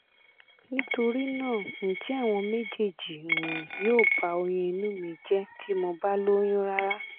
nitori naa nje awọn mejeeji um yo ba oyun inu mi je ti mo ba loyun rara?